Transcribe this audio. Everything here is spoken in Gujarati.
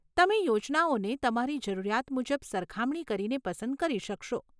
તમે યોજનાઓને તમારી જરૂરિયાત મુજબ સરખામણી કરીને પસંદ કરી શકશો.